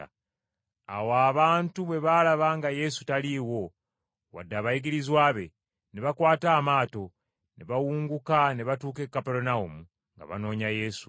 Awo abantu bwe baalaba nga Yesu taliiwo wadde abayigirizwa be, ne bakwata amaato ne bawunguka ne batuuka e Kaperunawumu nga banoonya Yesu.